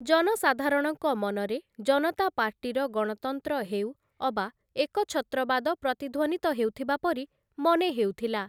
ଜନସାଧାରଣଙ୍କ ମନରେ ଜନତା ପାର୍ଟିର ଗଣତନ୍ତ୍ର ହେଉ ଅବା ଏକଛତ୍ରବାଦ ପ୍ରତିଧ୍ୱନିତ ହେଉଥିବା ପରି ମନେ ହେଉଥିଲା ।